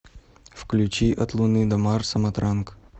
включи от луны до марса матранг